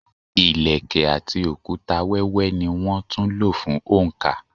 Ilẹ̀kẹ̀ àti òkúta wẹ́wẹ́ ní wón tún lò fún oǹkà.